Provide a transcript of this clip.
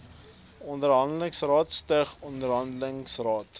onderhandelingsrade stig onderhandelingsrade